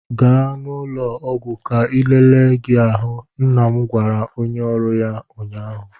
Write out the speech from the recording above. Gaa n'ụlọ ọgwụ ka elele gi ahụ! nna m gwara onye oru ya ụnyaahụ.